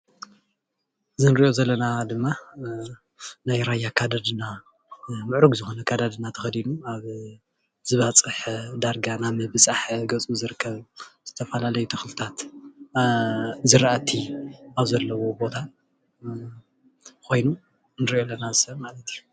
እዚ እንሪኦ ዘለና ድማ ናይ ራያ ኣከዳድና ምዕሩግ ዝኮነ ኣከዳድና ተከዱኑ ኣብ ዝባፀሐ ዳርጋ ናብ ምብፃሕ ገፁ ዝርከብ ዝተፈለላዩ ተክልታት ዝራእቲ ኣብ ዘለዎ ቦታ ኮይኑ ንሪኦ ኣለና እዚ ሰብ ማለት እዩ፡፡